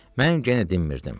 Mən genə dinmirdim.